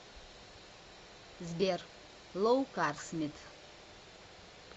сбер лоу карс мит